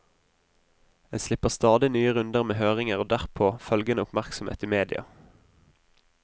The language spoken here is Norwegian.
En slipper stadig nye runder med høringer og derpå følgende oppmerksomhet i media.